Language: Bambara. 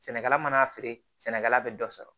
Sɛnɛkɛla mana'a feere sɛnɛkɛla bɛ dɔ sɔrɔ